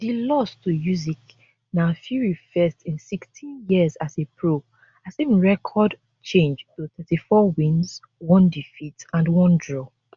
di loss to usyk na fury first in 16 years as a pro as im record change to 34 wins one defeat and one draw